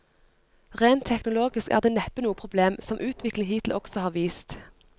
Rent teknologisk er det neppe noe problem, som utviklingen hittil også har vist.